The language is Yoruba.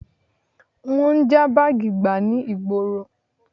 Wọ́n ń já báàgì gbà ní ìgboro